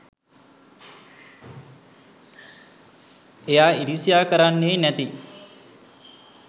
එයා ඉරිසියා කරන්නෙ නැති